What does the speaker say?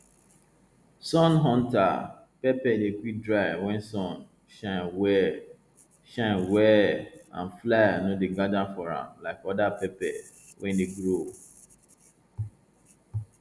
sun hunter pepper dey quick dry wen sun shine well shine well and fly no dey gather for am like other pepper wey dey grow